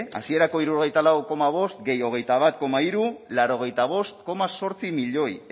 hasierako hirurogeita lau koma bost gehi hogeita bat koma hiru laurogeita bost koma zortzi milioi